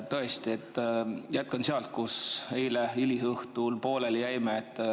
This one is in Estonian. Tõesti, jätkan sealt, kus eile hilisõhtul pooleli jäime.